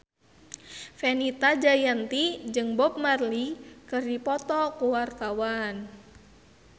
Fenita Jayanti jeung Bob Marley keur dipoto ku wartawan